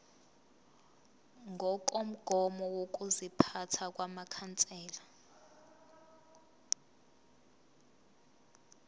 ngokomgomo wokuziphatha wamakhansela